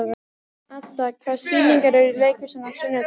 Adda, hvaða sýningar eru í leikhúsinu á sunnudaginn?